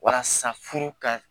Walasa furu ka